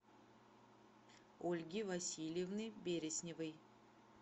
ольги васильевны бересневой